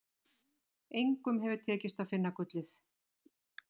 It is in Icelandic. Engum hefur tekist að finna gullið.